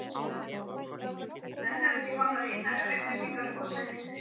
Enn eru ekki komnar ítarlegar upplýsingar um orsakir slyssins.